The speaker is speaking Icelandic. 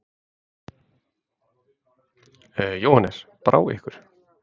Jóhannes: Brá ykkur?